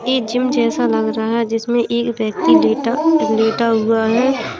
एक जिम जैसा लग रहा है। जिसमें एक व्यक्ति लेटा - लेटा हुआ है।